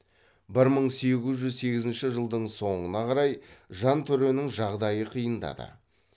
бір мың сегіз жүз сегізінші жылдың соңына қарай жантөренің жағдайы қиындады